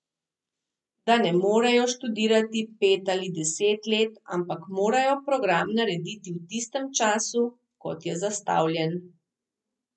Da ne morejo študirati pet ali deset let, ampak morajo program narediti v tistem času, kot je zastavljen.